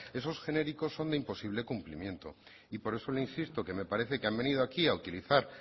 esos genéricos son de imposible cumplimiento y por eso le insisto que me parece que han venido aquí a utilizar